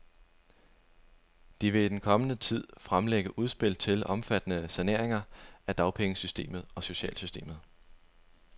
De vil i den kommende tid fremlægge udspil til omfattende saneringer af dagpengesystemet og socialsystemet.